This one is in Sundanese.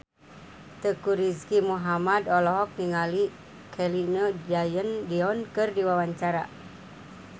Teuku Rizky Muhammad olohok ningali Celine Dion keur diwawancara